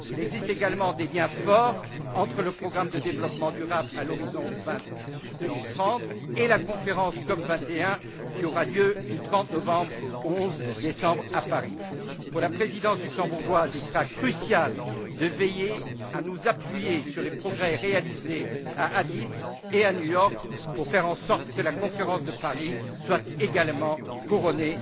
Il existe également des liens forts entre le programme de développement durable à l'horizon 2030 et la conférence COP 21, qui aura lieu du 30 novembre au 11 décembre, à Paris. Pour la présidence luxembourgeoise, il sera crucial de veiller à nous appuyer sur les progrès réalisés à Addis Abeba et à New York pour faire en sorte que la conférence de Paris soit également couronnée